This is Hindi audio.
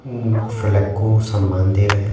फ्लेग को सम्मान दे रहे हैं।